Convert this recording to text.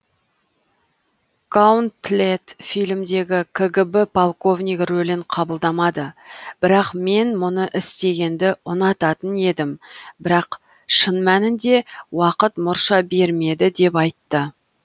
гаунтлет фильмдегі кгб полковнигі рөлін қабылдамады бірақ мен мұны істегенді ұнататын едім бірақ шын мәнінде уақыт мұрша бермеді деп айтты